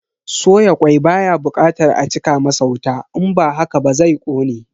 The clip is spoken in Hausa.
Soya kwai baya bukatar a cika masa wuta in ba haka ba zai kone.